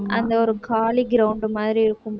உம்